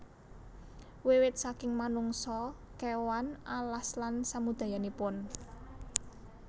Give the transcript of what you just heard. Wiwit saking manungsa kéwan alas lan samudayanipun